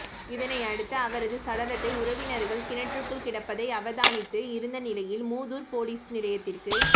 இதனையடுத்து அவரது சடலத்தை உறவினர்கள் கிணற்றுக்குள் கிடப்பதை அவதானித்து இருந்த நிலையில் மூதூர் பொலிஸ் நிலையத்திற்கு